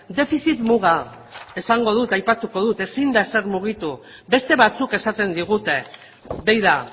defizit muga esango dut aipatuko dut ezin da ezer mugitu beste batzuk esaten digute begira